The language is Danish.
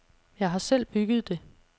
Jeg har selv bygget det.